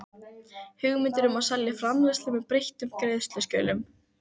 hugmyndir um að selja framleiðslu með breyttum greiðslukjörum.